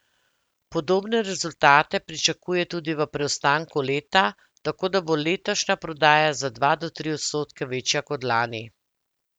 Podobne rezultate pričakuje tudi v preostanku leta, tako da bo letošnja prodaja za dva do tri odstotke večja kot lani.